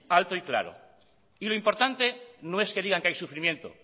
alto y claro y lo importante no es que digan que hay sufrimiento